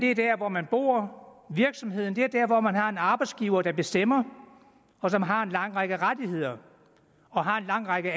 er der hvor man bor og virksomheden er der hvor man har en arbejdsgiver der bestemmer og som har en lang række rettigheder og har en lang række